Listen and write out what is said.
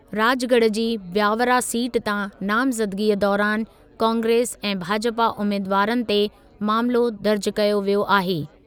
राजगढ़ जी ब्यावरा सीट तांनामज़दगीअ दौरानि कांग्रेस ऐं भाजपा उमेदवारनि ते मामिलो दर्ज़ कयो वियो आहे।